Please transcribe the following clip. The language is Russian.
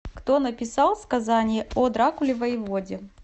кто написал сказание о дракуле воеводе